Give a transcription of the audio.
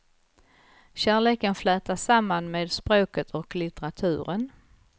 Kärleken flätas samman med språket och litteraturen.